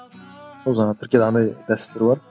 ол жаңағы түркияда андай дәстүр бар